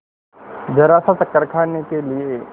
जरासा चक्कर खाने के लिए